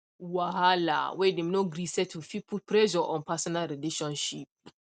wahala whey dem no gree settle fit put pressure on personal relationship